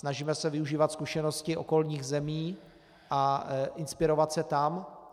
Snažíme se využívat zkušenosti okolních zemí a inspirovat se tam.